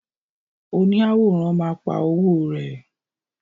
Oni àwòrán ma pa owo rẹ.